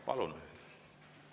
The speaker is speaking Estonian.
Palun!